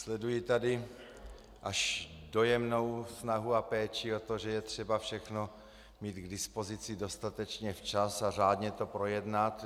Sleduji tady až dojemnou snahu a péči o to, že je třeba všechno mít k dispozici dostatečně včas a řádně to projednat.